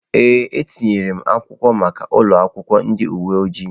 Ee, etinyere m akwụkwọ maka ụlọ akwụkwọ ndị uwe ojii.